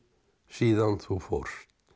síðan þú fórst